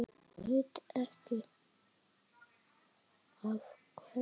Veit ekki af hverju.